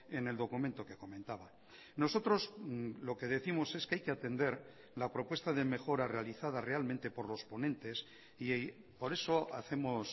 en el documento que comentaba nosotros lo que décimos es que hay que atender la propuesta de mejora realizada realmente por los ponentes y por eso hacemos